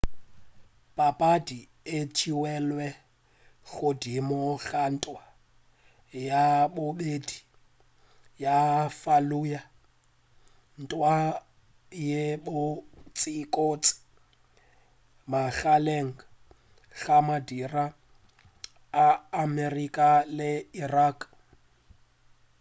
papadi e theilwe godimo ga ntwa ya bobedi ya fallujah ntwa ye kotsikotsi magareng ga madira a amerika le irak